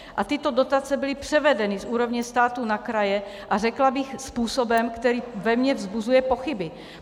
A tyto dotace byly převedeny z úrovně státu na kraje a řekla bych způsobem, který ve mně vzbuzuje pochyby.